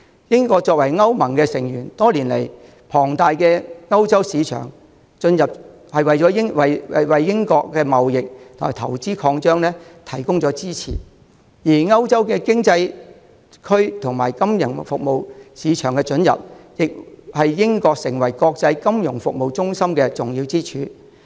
英國作為歐盟的成員，多年來，龐大的歐洲市場准入為英國的貿易和投資擴張提供支持，而歐洲經濟區金融服務市場的准入，亦是英國成為國際金融服務中心的重要支柱。